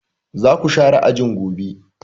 Za ku share ajin gobe!